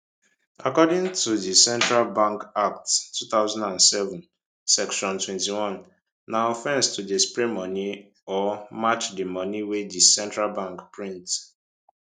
according to di central bank act 2007 section 21 na offence to dey spray money or match di money wey di central bank print